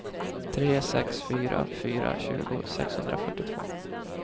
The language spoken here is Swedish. tre sex fyra fyra tjugo sexhundrafyrtiotvå